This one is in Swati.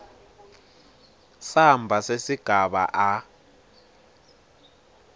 samba sesigaba a